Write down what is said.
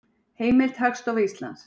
Heimild: Hagstofa Íslands.